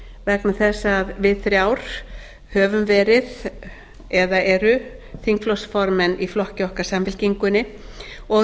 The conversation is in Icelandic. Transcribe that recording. vegna þess að við þrjár höfum verið eða eru þingflokksformenn í flokki okkar samfylkingunni og